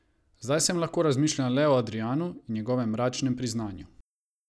Zdaj sem lahko razmišljala le o Adrijanu in njegovem mračnem priznanju.